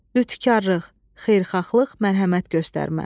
Lütkarlıq, xeyirxahlıq, mərhəmət göstərmə.